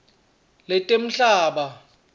letemhlaba